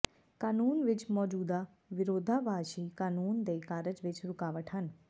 ਕਾਨੂੰਨ ਵਿਚ ਮੌਜੂਦਾ ਵਿਰੋਧਾਭਾਸੀ ਕਾਨੂੰਨ ਦੇ ਕਾਰਜ ਵਿੱਚ ਰੁਕਾਵਟ ਹਨ